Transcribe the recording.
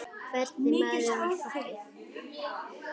Hvernig maður var pabbi?